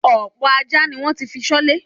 Ọ̀pọ̀ ajá ni wọ́n ti fi ṣọ́lé.